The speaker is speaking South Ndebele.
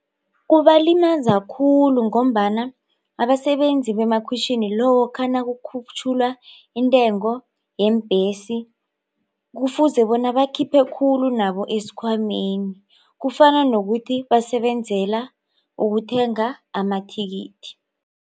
Kubalimaza khulu ngombana abasebenzi bemakhwitjhini lokha nakukhutjhulwa intengo yeembhesi kufuze bona bakhuphe khulu nabo esikhwameni kufana nokuthi basebenzela ukuthenga amathikithi.